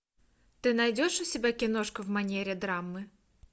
ты найдешь у тебя киношку в манере драмы